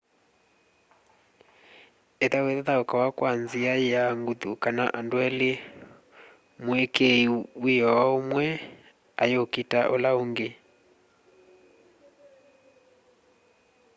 ithau ithaukawa kwa nzia ya nguthu kana andu eli mwikii wiio umwe ayukita ula ungi